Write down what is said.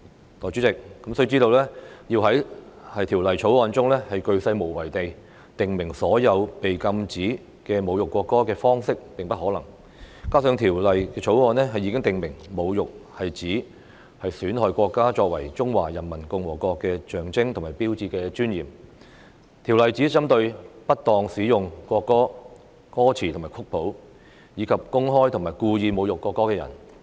代理主席，須知道，要在《條例草案》中鉅細無遺地訂明所有禁止侮辱國歌的方式是不可能的，加上《條例草案》已訂明侮辱是指"損害國歌作為中華人民共和國的象徵和標誌的尊嚴"，《條例草案》只針對不當使用國歌歌詞和曲譜，以及公開及故意侮辱國歌的人。